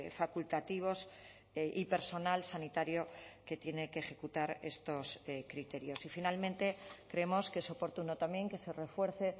facultativos y personal sanitario que tiene que ejecutar estos criterios y finalmente creemos que es oportuno también que se refuerce